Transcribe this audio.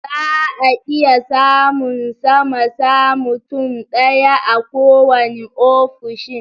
Zaa iya samun sama sa mutum ɗaya a kowanne ofishin